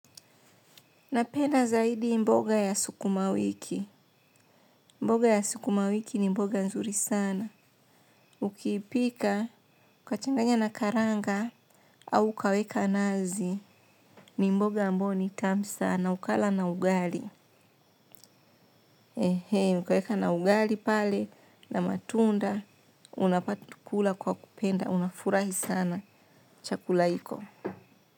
Napenda zaidi mboga ya sukuma wiki. Mboga ya sukuma wiki ni mboga nzuri sana. Ukipika ukachanganya na karanga au ukaweka nazi, ni mboga ambayo ni tamu sana, ukala na ugali. Ehe ukaweka na ugali pale na matunda unapata tu kula kwa kupenda unafurahi sana chakula iko.